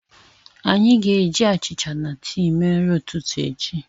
Anyị ga-eji achịcha na tii mee nri ụtụtụ echi.